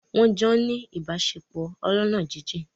Wọ́n jọ́ ń ní ìbáṣepọ̀ ọlọ́ná jíjìn